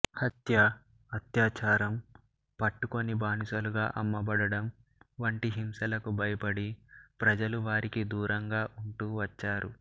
హత్య అత్యాచారం పట్టుకుని బానిసలుగా అమ్మబడడం వంటి హింసలకు భయపడి ప్రజలు వారికి దూరంగా ఉంటూ వచ్చారు